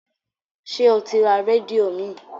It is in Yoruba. Ṣé o ti ra rédíò míì?